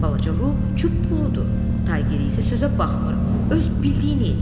Balaca Ru çuppuldur, Taygirə isə sözə baxmır, öz bildiyini eləyir.